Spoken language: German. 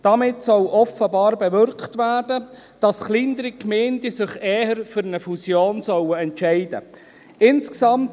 Damit soll offenbar bewirkt werden, dass sich kleinere Gemeinden eher für eine Fusion entscheiden sollen.